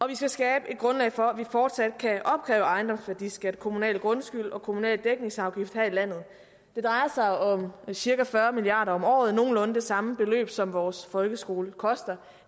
vi skabe et grundlag for at vi fortsat kan opkræve ejendomsværdiskat kommunal grundskyld og kommunal dækningsafgift her i landet det drejer sig om cirka fyrre milliard kroner om året nogenlunde det samme beløb som vores folkeskole koster